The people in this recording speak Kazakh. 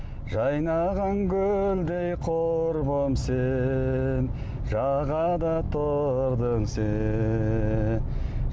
жайнаған гүлдей құрбым сен жағада тұрдың сен